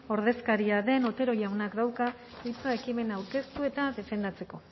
ordezkaria den otero jaunak dauka hitza ekimena aurkeztu eta defendatzeko